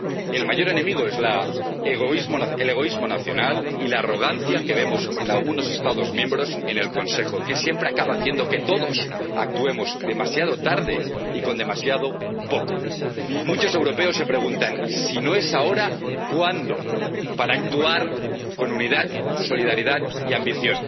mismos. El mayor enemigo es el egoísmo nacional y la arrogancia que vemos en algunos Estados miembros en el Consejo, que siempre acaba haciendo que todos actuemos demasiado tarde y con demasiado poco. Muchos europeos se preguntan si no es ahora, ¿cuándo?, para actuar con unidad, solidaridad y